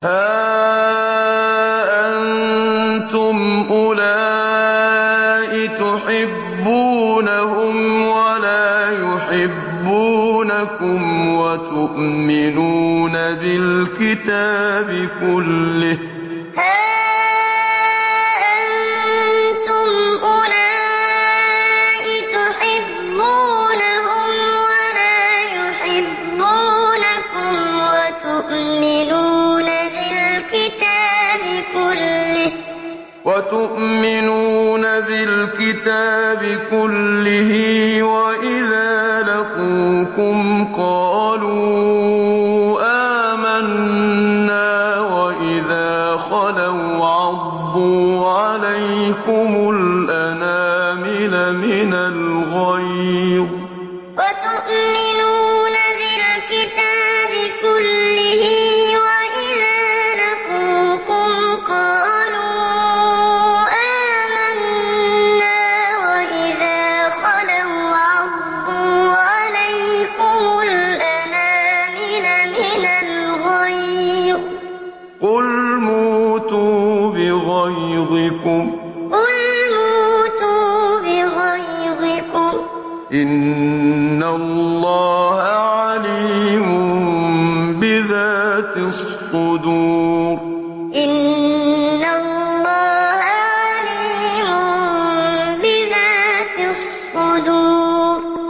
هَا أَنتُمْ أُولَاءِ تُحِبُّونَهُمْ وَلَا يُحِبُّونَكُمْ وَتُؤْمِنُونَ بِالْكِتَابِ كُلِّهِ وَإِذَا لَقُوكُمْ قَالُوا آمَنَّا وَإِذَا خَلَوْا عَضُّوا عَلَيْكُمُ الْأَنَامِلَ مِنَ الْغَيْظِ ۚ قُلْ مُوتُوا بِغَيْظِكُمْ ۗ إِنَّ اللَّهَ عَلِيمٌ بِذَاتِ الصُّدُورِ هَا أَنتُمْ أُولَاءِ تُحِبُّونَهُمْ وَلَا يُحِبُّونَكُمْ وَتُؤْمِنُونَ بِالْكِتَابِ كُلِّهِ وَإِذَا لَقُوكُمْ قَالُوا آمَنَّا وَإِذَا خَلَوْا عَضُّوا عَلَيْكُمُ الْأَنَامِلَ مِنَ الْغَيْظِ ۚ قُلْ مُوتُوا بِغَيْظِكُمْ ۗ إِنَّ اللَّهَ عَلِيمٌ بِذَاتِ الصُّدُورِ